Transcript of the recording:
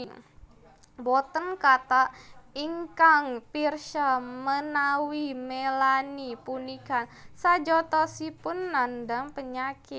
Boten kathah ingkang pirsa menawi Melanie punika sejatosipun nandhang penyakit